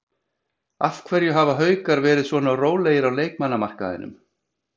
Af hverju hafa Haukar verið svona rólegir á leikmannamarkaðinum?